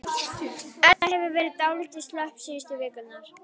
Edda hefur verið dálítið slöpp síðustu vikurnar.